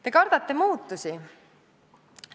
Te kardate muutusi.